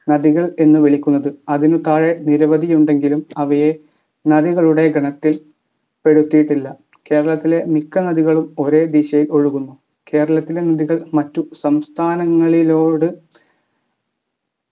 നദികൾ എന്നു വിളിക്കുന്നത് അതിനു താഴെ നിരവധിയുണ്ടെങ്കിലും അവയെ നദികളുടെ ഗണത്തിൽ പെടുത്തിയിട്ടില്ല കേരളത്തിലെ മിക്ക നദികളും ഒരേ ദിശയിൽ ഒഴുകുന്നു കേരളത്തിലെ നദികൾ മറ്റു സംസ്ഥാനങ്ങളിലോട്